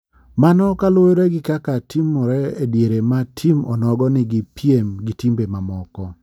Mano kaluwore gi kaka timore e diere ma tim onogo ni gi piem gi timbe ma moko.